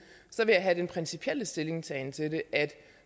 vil jeg have den principielle stillingtagen til det at vi